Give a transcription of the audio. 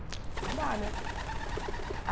Não dá, né?